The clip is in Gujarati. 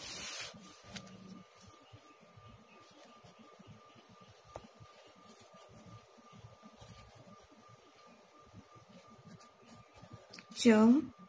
ચમ